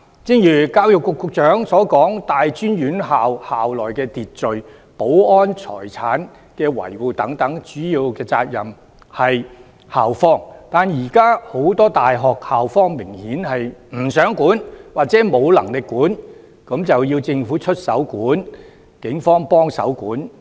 正如教育局局長所說，大專院校的校內秩序、保安、財產的維護等，主要責任在於校方，但現時很多大學的校方明顯不想規管或沒能力規管，這樣就要政府出手規管，警方協助規管。